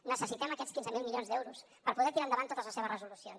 necessitem aquests quinze mil milions d’euros per poder tirar endavant totes les seves resolucions